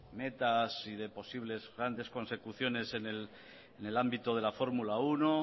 metas y de posibles grandes consecuciones en el ámbito de la formula uno